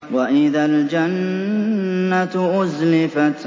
وَإِذَا الْجَنَّةُ أُزْلِفَتْ